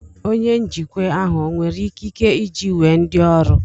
Onye njikwa ahụ ọ nwere ikike iji wee ndị ọrụ